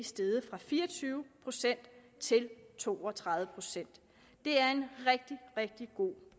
steget fra fire og tyve procent til to og tredive procent det er en rigtig rigtig god